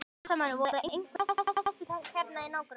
Fréttamaður: Voru einhver hús í hættu hérna í nágrenninu?